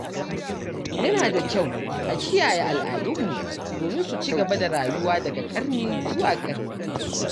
Yana da kyau a kiyaye al’adunmu domin su ci gaba da rayuwa daga ƙarni zuwa ƙarni.